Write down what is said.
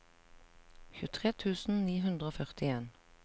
tjuetre tusen ni hundre og førtien